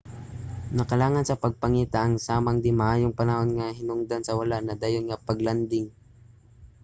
nakalangan sa pagpangita ang samang di-maayong panahon nga hinungdan sa wala nadayon nga pag-landing